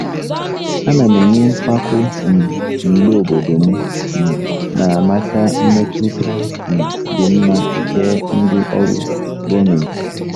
Ana m enwe mpako um mgbe obodo m um na-amata mmetụta um dị mma nke ndị ọrụ gọọmentị.